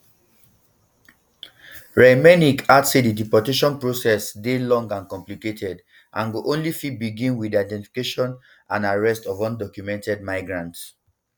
reichlinmelnick add say di deportation process dey long and complicated and go only fit begin wit di identification and arrest of undocumented migrant